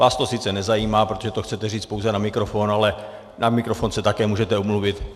Vás to sice nezajímá, protože to chcete říct pouze na mikrofon, ale na mikrofon se také můžete omluvit.